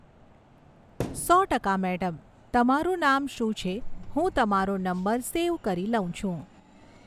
સો ટકા મૅડમ. તમારું નામ શું છે હું તમારો નંબર સેવ કરી લઉં છું